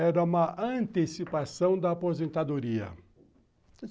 Era uma antecipação da aposentadoria.